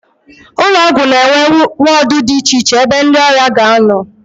Ụlọọgwụ na-enwe wọọdụ dị icheiche ebe ndị ọrịa na-anọ